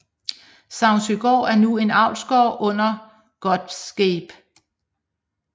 Savnsøgård er nu en avlsgård under Gottesgabe